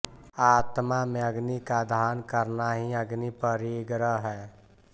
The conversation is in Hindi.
आत्मा में अग्नि का आधान करना ही अग्नि परिग्रह है